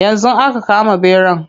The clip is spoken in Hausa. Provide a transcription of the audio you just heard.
Yanzu aka kama ɓeran.